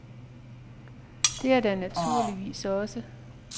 Det er der naturligvis også.